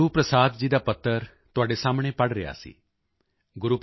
ਇਹ ਮੈਂ ਗੁਰੂਪ੍ਰਸਾਦ ਜੀ ਦਾ ਪੱਤਰ ਤੁਹਾਡੇ ਸਾਹਮਣੇ ਪੜ੍ਹ ਰਿਹਾ ਸੀ